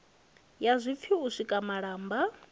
ya zwipfi u sika malamba